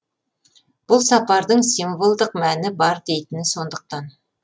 бұл сапардың символдық мәні бар дейтіні сондықтан